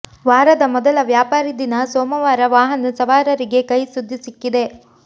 ವಾರದ ಮೊದಲ ವ್ಯಾಪಾರಿ ದಿನ ಸೋಮವಾರ ವಾಹನ ಸವಾರರಿಗೆ ಕಹಿ ಸುದ್ದಿ ಸಿಕ್ಕಿದೆ